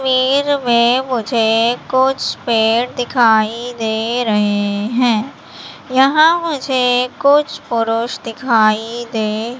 तस्वीर में मुझे कुछ पेड़ दिखाई दे रहे हैं यहां मुझे कुछ पुरुष दिखाई दे--